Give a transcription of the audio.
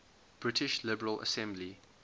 british liberal assembly